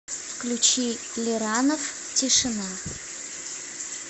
включи лиранов тишина